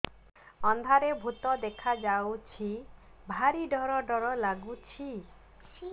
ଅନ୍ଧାରରେ ଭୂତ ଦେଖା ଯାଉଛି ଭାରି ଡର ଡର ଲଗୁଛି